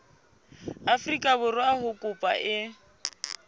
afrika borwa ha kopo e